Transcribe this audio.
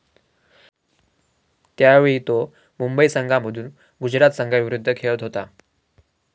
त्यावेळी तो मुंबई संघामधून गुजरात संघाविरुद्ध खेळत होता.